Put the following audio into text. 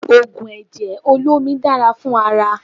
Ògùn ẹ̀jẹ̀ olómi dára fún ara